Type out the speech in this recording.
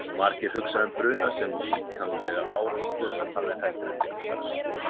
Margir hugsa um bruna sem líkamlega áreynslu en það er heldur ekki öll sagan.